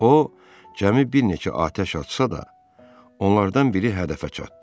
O cəmi bir neçə atəş açsa da, onlardan biri hədəfə çatdı.